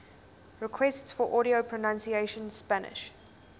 requests for audio pronunciation spanish